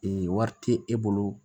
Ee wari tɛ e bolo